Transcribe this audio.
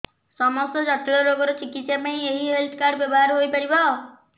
ସମସ୍ତ ଜଟିଳ ରୋଗର ଚିକିତ୍ସା ପାଇଁ ଏହି ହେଲ୍ଥ କାର୍ଡ ବ୍ୟବହାର ହୋଇପାରିବ